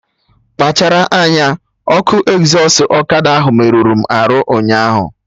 Kpachara anya! Ọkụ ezọstụ ọkada ahụ merụrụ m arụ ụnyaahụ!